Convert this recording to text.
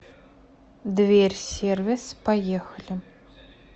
дверь сервис поехали